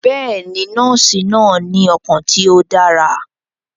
Bẹẹni, nọọsi naa ni ọkan ti o dara.